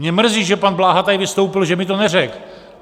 Mě mrzí, že pan Bláha tady vystoupil, že mi to neřekl.